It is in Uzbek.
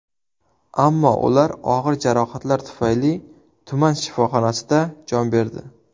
Ammo ular og‘ir jarohatlar tufayli tuman shifoxonasida jon berdi.